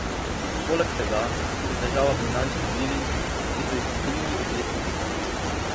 Poleg tega so težava finančni viri, ki so jih v krizi oklestili.